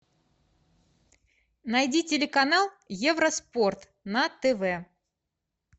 найди телеканал евроспорт на тв